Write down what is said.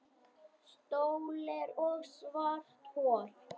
Sólir og svarthol